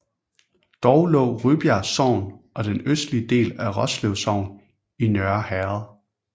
Dog lå Rybjerg Sogn og den østlige del af Roslev Sogn i Nørre Herred